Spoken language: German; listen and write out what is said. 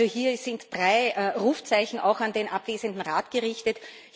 Also, hier sind drei Rufzeichen auch an den abwesenden Rat gerichtet.